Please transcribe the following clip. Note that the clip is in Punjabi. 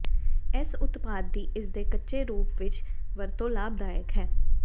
ਇਸ ਉਤਪਾਦ ਦੀ ਇਸਦੇ ਕੱਚੇ ਰੂਪ ਵਿੱਚ ਵਰਤੋਂ ਲਾਭਦਾਇਕ ਹੈ